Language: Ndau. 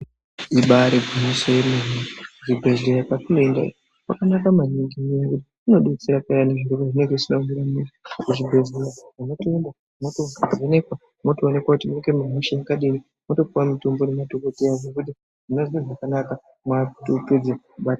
Ibari gwinyiso yemene kuzvibhedhlera kwatinoenda kwakanaka maningi ngekuti kunodetsera payani zviro pazvinenge zvisina kumira mushe kuzvibhedhleya munotoenda mwovhenekwa mwotoonekwe kuti munenge mune hosha yakadini mwotopuwe mutombo ngemadhokodheya zvekuti munozwe zvakanaka mwoate hope dzinobata.